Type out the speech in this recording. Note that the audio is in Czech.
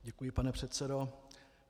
Děkuji, pane předsedo.